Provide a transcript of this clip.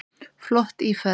Flott íferð.